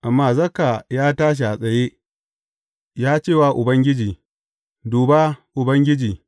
Amma Zakka ya tashi a tsaye, ya ce wa Ubangiji, Duba, Ubangiji!